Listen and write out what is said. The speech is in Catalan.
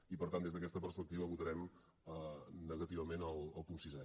i per tant des d’aquesta perspectiva votarem negativament al punt sisè